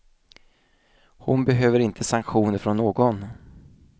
Hon behöver inte sanktioner från någon.